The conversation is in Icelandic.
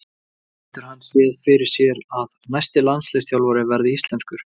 Getur hann séð fyrir sér að næsti landsliðsþjálfari verði íslenskur?